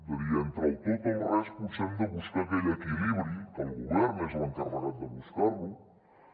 és a dir entre el tot o el res potser hem de buscar aquell equilibri que el govern és l’encarregat de buscar lo